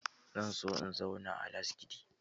Zan so in zauna a Lasgidi.